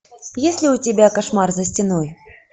есть ли у тебя кошмар за стеной